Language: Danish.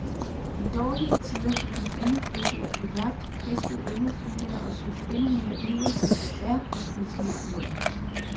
I dårlige tider gik man endnu flittigere på jagt, fiskede endnu flittigere og søgte endnu mere ivrigt efter bær og spiselige urter.